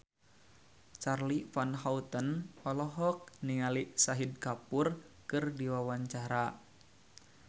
Charly Van Houten olohok ningali Shahid Kapoor keur diwawancara